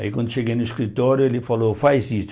Aí quando cheguei no escritório, ele falou, faz isso.